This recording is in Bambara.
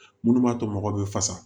Minnu b'a to mɔgɔw bɛ fasa